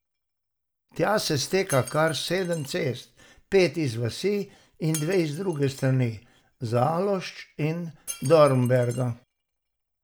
Tja se steka kar sedem cest, pet iz vasi in dve z druge strani, Zalošč in Dornberka.